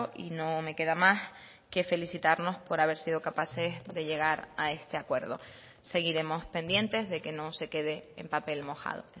y no me queda más que felicitarnos por haber sido capaces de llegar a este acuerdo seguiremos pendientes de que no se quede en papel mojado